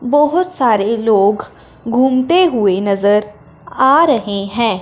बहोत सारे लोग घूमते हुए नजर आ रहे हैं।